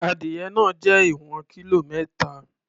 Edìyẹ náà jẹ́ ìwọ̀n kílò mẹ́ta.